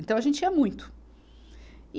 Então a gente ia muito. e